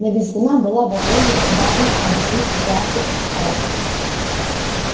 на визгуна была возложена обязанность объяснить ситуацию отсталым